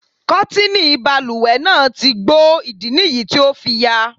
Kọ́tìnì balùwẹ̀ náà ti gbó, ìdí nìyí tí o fi yà.